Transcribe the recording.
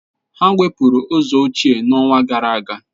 Ha wepụrụ ụzọ ochie n'ọnwa gara aga.